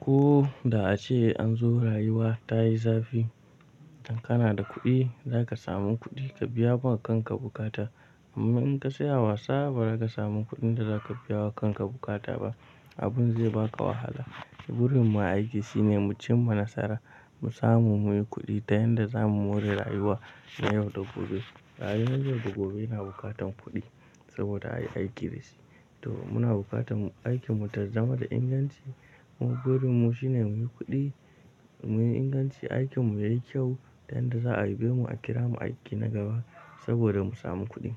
ko da ace an zo rayuwa ta yi zafi. Idan kana da kuɗi, zaka samu kuɗi ka biya wa kanka buƙata. Amma in ka tsaya wasa, ba za ka samu kuɗin da za ka biya wa kanka buƙata ba. Abun zai baka wahala. Burin mu a aiki shine mu cimma nasara, mu samu muyi kuɗi ta yanda zamu more rayuwa na yau da gobe. Rayuwar yau da gobe yana bukatan kuɗi saboda ayi aiki da shi. To muna bukatan aikin mu ta zama da inganci. Burin mu shine muyi kuɗi, muyi inganci. Aikin mu yayi kyau ta yanda za a yabe mu a kira mu aiki na gaba saboda mu samu kuɗi.